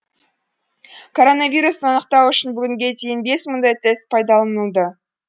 коронавирусты анықтау үшін бүгінге дейін бес мыңдай тест пайдаланылды